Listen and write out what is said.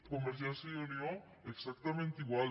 convergència i unió exactament igual